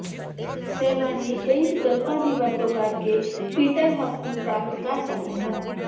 ਸੈਲਾਨੀ ਕਈ ਵਿਕਲਪਾਂ ਦੀ ਵਰਤੋਂ ਕਰਕੇ ਪੀਟਰਹਫ਼ ਨੂੰ ਪ੍ਰਾਪਤ ਕਰ ਸਕਦੇ ਹਨ